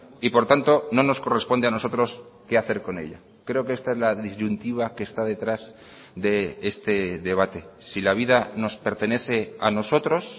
y por tanto no nos corresponde a nosotros qué hacer con ella creo que esta es la disyuntiva que está detrás de este debate si la vida nos pertenece a nosotros